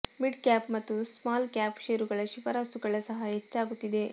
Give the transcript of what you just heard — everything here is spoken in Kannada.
ಮಿಡ್ ಕ್ಯಾಪ್ ಮತ್ತು ಸ್ಮಾಲ್ ಕ್ಯಾಪ್ ಷೇರುಗಳ ಶಿಫಾರಸುಗಳು ಸಹ ಹೆಚ್ಚಾಗುತ್ತಿದೆ